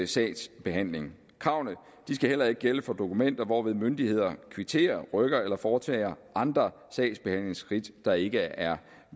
sagsbehandling kravene skal heller ikke gælde for dokumenter hvorved myndigheder kvitterer rykker eller foretager andre sagsbehandlingsskridt der ikke er